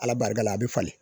Ala barika la a bɛ falen